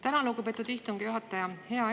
Tänan, lugupeetud istungi juhataja!